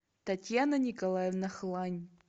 татьяна николаевна хлань